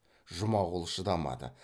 жұмағұл шыдамады